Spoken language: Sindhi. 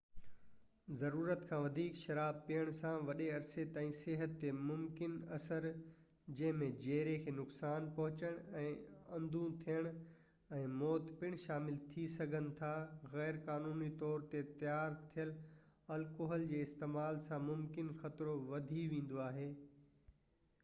ضرورت کان وڌيڪ شراب پيئڻ سان وڏي عرصي تائين صحت تي ممڪن اثر جنهن ۾ جيري کي نقصان پهچڻ ۽ اندو ٿيڻ ۽ موت پڻ شامل ٿي سگهن ٿا غير قانوني طور تي تيار ٿيل الڪوحل جي استعمال سان ممڪن خطرو وڌي ويندو آهي